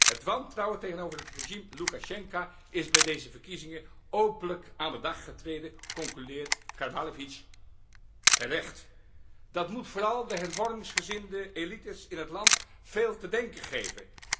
Het wantrouwen tegenover het regime Loekasjenko is bij deze verkiezingen openlijk aan de dag getreden, concludeert Karbalevitsj terecht. Dat moet vooral de hervormingsgezinde elites in het land veel te denken geven.